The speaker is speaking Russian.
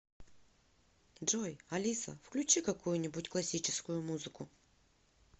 джой алиса включи какую нибудь классическую музыку